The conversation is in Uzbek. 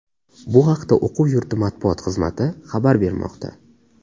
Bu haqda o‘quv yurti matbuot xizmati xabar bermoqda .